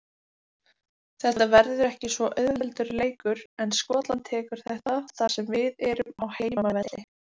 Þetta verður ekki auðveldur leikur en Skotland tekur þetta þar sem við erum á heimavelli.